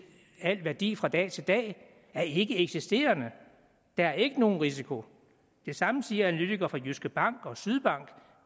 al værdi fra dag til dag er ikkeeksisterende der er ikke nogen risiko det samme siger analytikere fra jyske bank og fra sydbank